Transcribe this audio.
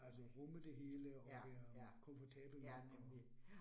Altså rumme det hele og være komfortabel med det og